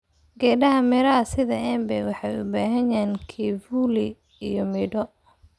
Geedaha miraha sida embe waxay bixiyaan kivuli iyo midho.